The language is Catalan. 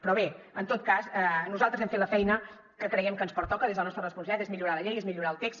però bé en tot cas nosaltres hem fet la feina que creiem que ens pertoca des de la nostra responsabilitat que és millorar la llei és millorar el text